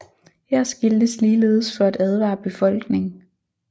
Her skiltes ligeledes for at advare befolkning